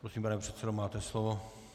Prosím, pane předsedo, máte slovo.